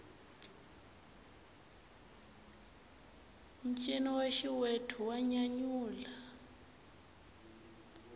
ncino wa xiwethu wa nyanyula